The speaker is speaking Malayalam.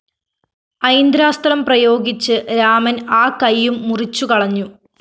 ഐന്ദ്രാസ്ത്രം പ്രയോഗിച്ച് രാമന്‍ ആ കയ്യും മുറിച്ചുകളഞ്ഞു